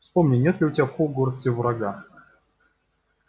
вспомни нет ли у тебя в хогвартсе врага